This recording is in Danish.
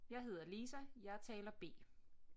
Jeg hedder Lisa jeg er taler B